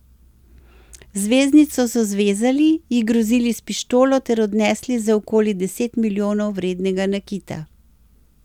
Zvezdnico so zvezali, ji grozili s pištolo ter odnesli za okoli deset milijonov vrednega nakita.